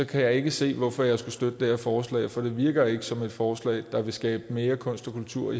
kan jeg ikke se hvorfor jeg skulle støtte det her forslag for det virker ikke som et forslag der vil skabe mere kunst og kultur